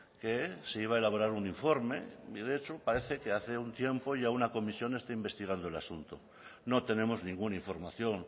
que se iba a elaborar un informe y de hecho parece que hace un tiempo ya una comisión está investigando el asunto no tenemos ninguna información